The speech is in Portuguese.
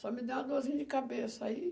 Só me deu uma dorzinha de cabeça. Aí,